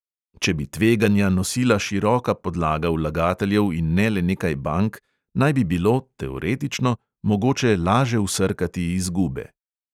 Če bi tveganja nosila široka podlaga vlagateljev in ne le nekaj bank, naj bi bilo – teoretično – mogoče laže vsrkati izgube.